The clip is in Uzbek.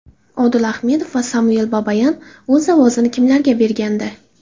Odil Ahmedov va Samvel Babayan o‘z ovozini kimlarga bergandi?